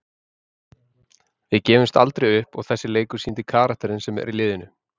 Við gefumst aldrei upp og þessi leikur sýndi karakterinn sem er í liðinu.